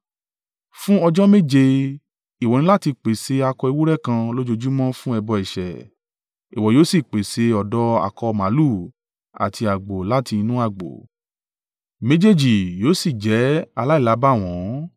“Fún ọjọ́ méje, ìwọ ní láti pèsè akọ ewúrẹ́ kan lójoojúmọ́ fún ẹbọ ẹ̀ṣẹ̀; ìwọ yóò sì pèsè ọ̀dọ́ akọ màlúù àti àgbò láti inú agbo, méjèèjì yóò sì jẹ́ aláìlábàwọ́n.